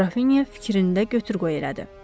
Grafinya fikrində götür-qoy elədi.